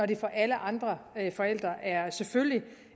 det for alle andre forældre selvfølgelig